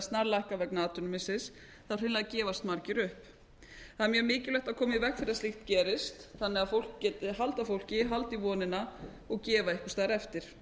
snarlækka vegna atvinnumissis þá hreinlega gefast margir upp það er mjög mikilvægt að koma í veg fyrir að slíkt gerist þannig að fólk geti halda fólki halda í vonina og gefa einhvers staðar eftir